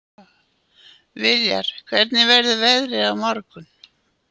Viljar, hvernig verður veðrið á morgun?